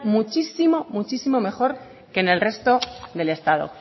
muchísimo mejor que en el resto del estado